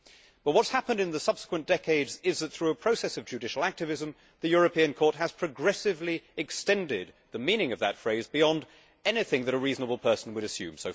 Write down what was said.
But what has happened in the subsequent decades is that, through a process of judicial activism, the European Court has progressively extended the meaning of that phrase beyond anything that a reasonable person would assume.